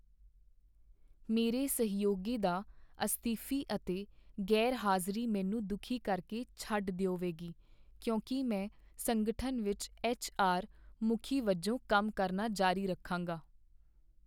ਮੇਰੇ ਸਹਿਯੋਗੀ ਦਾ ਅਸਤੀਫ਼ੀ ਅਤੇ ਗ਼ੈਰਹਾਜ਼ਰੀ ਮੈਨੂੰ ਦੁਖੀ ਕਰਕੇ ਛੱਡ ਦਿਓਵੇਗੀ ਕਿਉਂਕਿ ਮੈਂ ਸੰਗਠਨ ਵਿੱਚ ਐੱਚ.ਆਰ. ਮੁਖੀ ਵਜੋਂ ਕੰਮ ਕਰਨਾ ਜਾਰੀ ਰੱਖਾਂਗਾ।